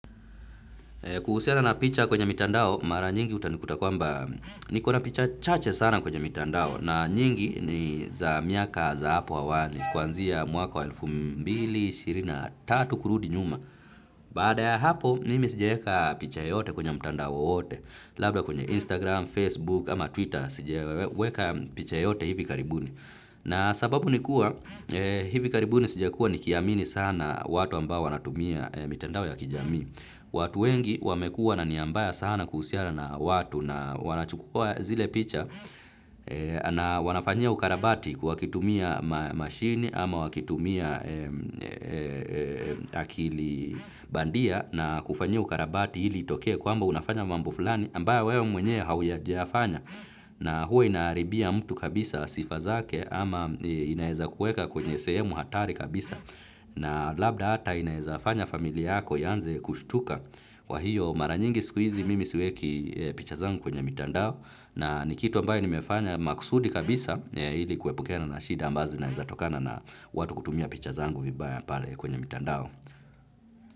Kuhusiana na picha kwenye mitandao mara nyingi utanikuta kwamba nikona picha chache sana kwenye mitandao na nyingi ni za miaka za hapo awali kwanzia mwaka wa elfu mbili na ishirini na tatu kurudi nyuma. Baada ya hapo nimi sijaeka picha yoyote kwenye mitandao wowote labda kwenye Instagram, Facebook ama Twitter sijaweka picha yoyote hivi karibuni. Na sababu ni kuwa hivi karibu ni sijakua nikiamini sana watu ambao wanatumia mitandao ya kijamii. Watu wengi wamekua na nia mbaya sana kuhusiana na watu na wanachukua zile picha na wanafanyia ukarabati wakitumia mashini ama wakitumia akili bandia na kufanyia ukarabati ili itokee kwamba unafanya mambo fulani ambayo wewe mwenyewe haujayafanya. Na huwa inaharibia mtu kabisa sifa zake ama inaweza kuweka kwenye sehemu hatari kabisa na labda hata inaweza fanya familia yako ianze kushtuka kwa hiyo mara nyingi siku hizi mimi siweki picha zangu kwenye mitandao na ni kitu ambayo nimefanya makusudi kabisa ili kuepukana na shida ambazo zinaweza tokana na watu kutumia picha zangu vibaya pale kwenye mitandao.